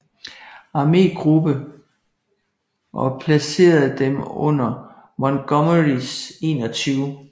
Armegruppe og placerede dem under Montgomerys 21